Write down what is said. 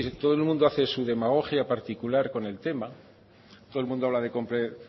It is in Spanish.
todo el mundo hace su demagogia particular con el tema